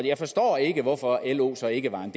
jeg forstår ikke hvorfor lo så ikke var en